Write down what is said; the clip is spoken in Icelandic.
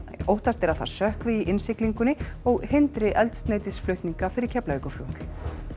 óttast er að það sökkvi í innsiglingunni og hindri eldsneytisflutninga fyrir Keflavíkurflugvöll